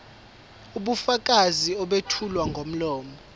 ubufakazi obethulwa ngomlomo